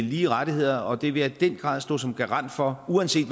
lige rettigheder og det vil jeg i den grad stå som garant for uanset